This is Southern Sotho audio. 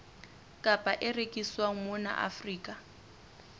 kapa e rekiswang mona afrika